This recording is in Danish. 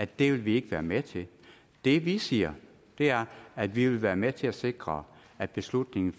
det vil vi ikke være med til det vi siger er at vi vil være med til at sikre at beslutningen